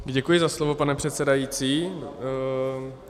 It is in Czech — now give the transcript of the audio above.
Děkuji za slovo, pane předsedající.